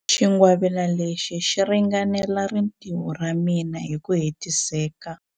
Xingwavila lexi xi ringanela rintiho ra mina hi ku hetiseka.